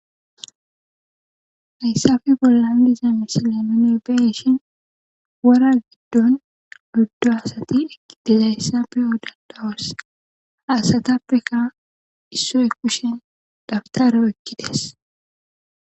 Hayissappe boollan diza misile nuni beyishshin wora gidon oyddu asati dizayssa beyid dos ha asatapekka issoy kushshen dabitera oykkides